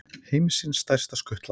Heimsins stærsta skutla